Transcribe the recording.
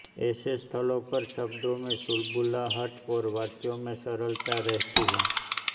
ऐसे स्थलों पर शब्दों में चुलबुलाहट और वाक्यों में सरलता रहती है